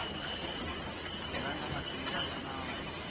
nga na matimba ya nawu